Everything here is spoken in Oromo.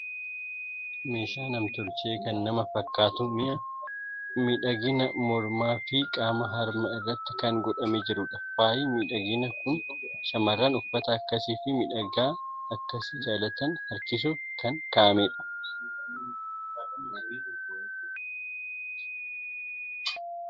Meeshaa nam tolchee kan nama fakkaatu, mi'a miidhaginaa mormaa fi qaama harma irratti kan godhamee jirudha. Faayi miidhainaa kun shamarroota uffata akkasii fi miidhagina akkasii jaalatani harkisuuf kan kaa'ame dha.